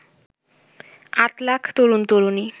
আট লাখ তরুন তরুনী